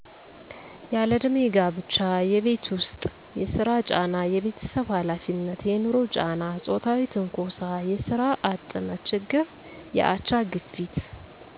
ያለእድሜ ጋብቻ የቤት ውስጥ የስራ ጫና የቤተሰብ ሀላፊነት የንሮ ጫና ጾታዊ ትንኮሳ የስራ አጥነት ችግር የአቻ ግፊት